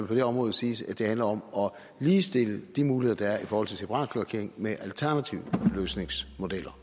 på det område siges at handle om at ligestille de muligheder der er i forhold til separatkloakering med alternative løsningsmodeller